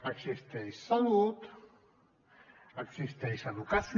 existeix salut existeix educació